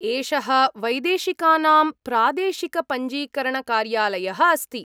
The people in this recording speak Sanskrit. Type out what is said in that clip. एषः वैदेशिकानां प्रादेशिकपञ्जीकरणकार्यालयः अस्ति।